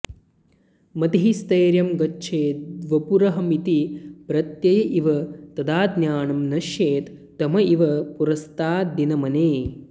मतिः स्थैर्यं गच्छेद्वपुरहमिति प्रत्यय इव तदाज्ञानं नश्येत् तम इव पुरस्ताद्दिनमणेः